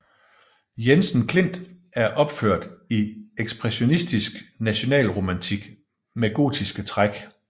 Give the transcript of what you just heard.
Jensen Klint og opført i ekspressionistisk nationalromantik med gotiske træk